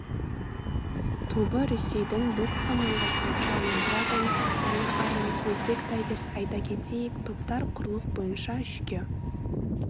тобы ресейдің бокс командасы чайна драгонс астана арланс өзбек тайгерс айта кетейік топтар құрлық бойынша үшке